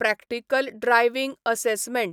practical driving assessment